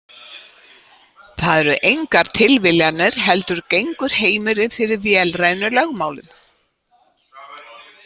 Það eru engar tilviljanir heldur gengur heimurinn fyrir vélrænum lögmálum.